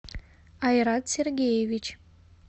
айрат сергеевич